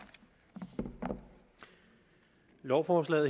det her lovforslag